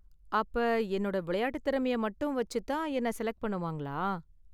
அப்ப, என்னோட விளையாட்டு திறமையை மட்டும் வச்சு தான் என்ன செலக்ட் பண்ணுவாங்களா?